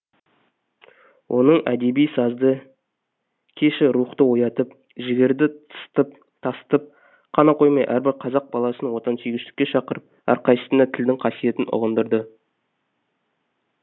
оның әдеби сазды кеші рухты оятып жігерді тасытып қана қоймай әрбір қазақ баласын отансүйгіштікке шақырып әрқайсысына тілдің қасиетін ұғындырды